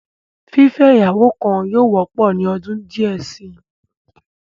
Fífẹ́ ìyàwó kan yóò wọ́pọ̀ ní ọdún díẹ̀ si.